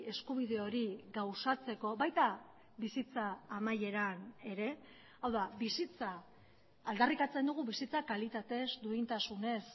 eskubide hori gauzatzeko baita bizitza amaieran ere hau da bizitza aldarrikatzen dugu bizitza kalitatez duintasunez